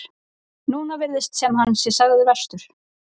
Núna virðist sem hann sé sagður verstur.